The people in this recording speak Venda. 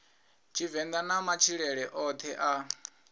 tshivenḓa na matshilele oṱhe a